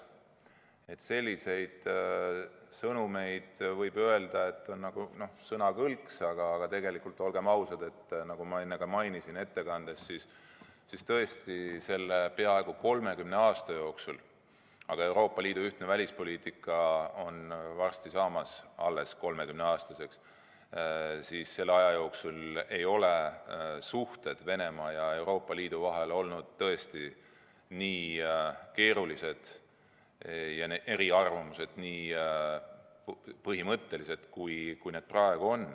Võib öelda, et sellised sõnumid on nagu sõnakõlksud, aga tegelikult, olgem ausad, nagu ma enne ka ettekandes mainisin, siis tõesti, selle peaaegu 30 aasta jooksul – Euroopa Liidu ühtne välispoliitika on varsti saamas alles 30-aastaseks – ei ole suhted Venemaa ja Euroopa Liidu vahel olnud nii keerulised ja eriarvamused nii põhimõttelised, nagu need on praegu.